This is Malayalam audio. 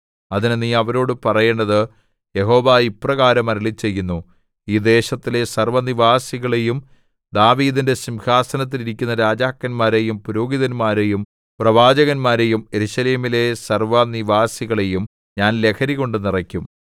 അതിന് നീ അവരോടു പറയേണ്ടത് യഹോവ ഇപ്രകാരം അരുളിച്ചെയ്യുന്നു ഈ ദേശത്തിലെ സർവ്വനിവാസികളെയും ദാവീദിന്റെ സിംഹാസനത്തിൽ ഇരിക്കുന്ന രാജാക്കന്മാരെയും പുരോഹിതന്മാരെയും പ്രവാചകന്മാരെയും യെരൂശലേമിലെ സർവ്വനിവാസികളെയും ഞാൻ ലഹരികൊണ്ടു നിറയ്ക്കും